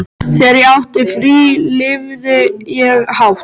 Þegar ég átti frí lifði ég hátt.